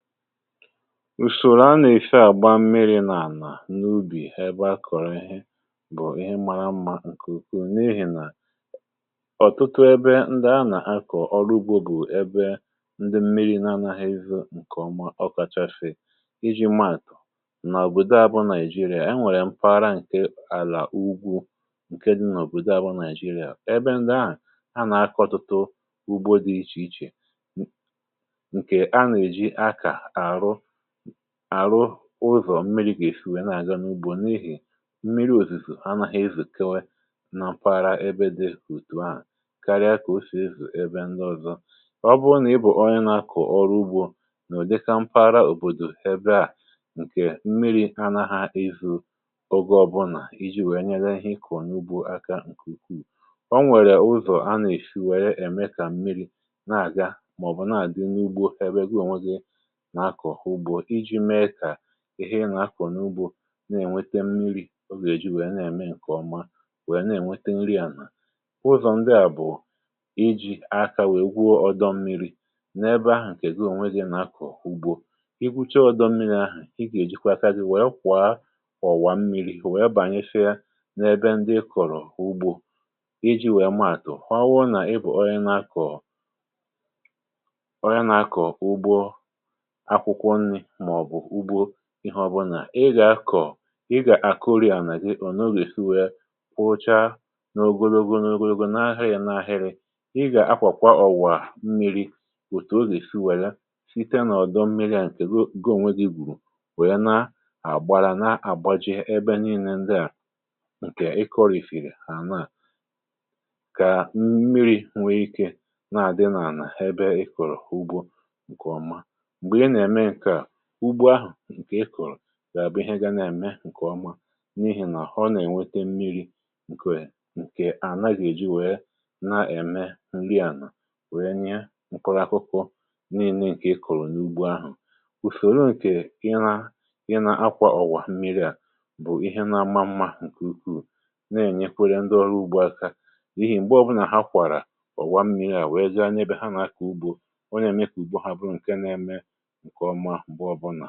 ùsòrò a nà-èfe àgba mmiri̇ nà-ànà n’ubì ebe a kọ̀rọ̀ ihe bụ̀ ihe mara mmȧ ǹkè ukwuù n’ihì nà ọ̀tụtụ ebe ndị a nà-akọ̀ ọrụ ugbȯ bụ̀ ebe ndị mmiri̇ n’anȧghị̇ evu ǹkèọma. ọkȧchȧfị um ịjị̇ maàtụ̀ n’òbòdò abụọ nàị̀jịrị̀a e nwèrè mfara ǹke àlà ugwu ǹke dị̇ n’òbòdò abụọ nàị̀jịrị̀a ọ̀ ebe ndị a a nà-akọ̇ tụtụ ugbo dị ichè ichè àrụ ụzọ̀ mmiri̇ kà èshiwè na-àga n’ugbȯ n’ihì mmiri̇ òsìsì anȧhȧ izù kewė na mpaghara ebe dị òtù ahụ̀ karịa kà o sì ezù ebe ndị ọ̀zọ. ọ bụ nà ị bụ̀ onye nȧ-akụ̀ ọrụ ugbȯ nà ò dịkȧ mpaghara òbòdò ebe à ǹkè mmiri̇ anȧ ha izù ọgȧ ọbụnà iji̇ wèe nyere ihe ịkọ̀ n’ugbo aka ǹkù ukwuù ọ nwèrè ụzọ̀ a nà-èshi wèe ème kà mmiri̇ na-àga màọ̀bụ̀ na-àdị n’ugbo ebe gụọ̀nwėghe ihe ị nà-akọ̀ n’ugbȯ inwėte mmiri̇ ogè ji wèe na-ème ǹkè ọma wèe na-ènwete nri ànà. uzò ndịà bụ̀ iji̇ akȧ wèe gwuo ọdọ mmiri̇ n’ebe ahụ̀ ǹkè gi ònwe gị um n’akọ̀ ugbo i gbuche ọdọ mmiri̇ ahụ̀, i gèji kwa aka dị wèe kwà ọ̀wà mmiri̇ wèe bànyefie n’ebe ndị i kọ̀rọ̀ ugbȯ iji̇ wèe maàtụ̀ kwawa nà ị bụ̀ ọrịa nà-akọ̀ ihè ọbụlà ị gà-akọ̀, ị gà-àkọrịà nà o n’ogè si wee kwụchaa ogologo ogologo n’ahịrị nà ahịrị. ị gà-akwàkwa ọ̀wà mmiri̇ òtù o gà-èsi wèli site nà ọdọ mmiri̇ à ǹkè goo onwe gị̀ gùrù wèe na-àgbara na-àgbaji ebe niilė ndịà ǹkè ịkọ̇rìfìrì ànà kà mmiri̇ nwere ike na-àdị nà-ànà ebe ị kọ̀rọ̀ ugbȯ ǹkè ọma. ugbo ahụ̀ ǹkè ị kụ̀rụ̀ à bụ̀ ihe ga na-ème ǹkè ọma um n’ihì nà ha ọ nà-ènwete mmiri̇ ǹkè à nàgàghi wèe na-ème ǹri ànà wèe nye m̀kpụrụakwụkwọ n’inee ǹkè ikòrò n’ugbo ahụ̀. ùsòrò ǹkè ị na ị na-akwà ọ̀wà mmiri à bụ̀ ihe na-ama mmȧ ǹkè ukwuu na-ènyekwere ndị ọrụ ugbo aka n’ihì m̀gbe ọbụlà ha kwàrà ọ̀wa mmiri̇ à wèe ja n’ebe ha nà kà ugbȯ ọ nà ème kà ùgbo ha bụ̀ ǹke na-eme ǹkè ọ̀zọkwa um m̀gbè ọbụnà.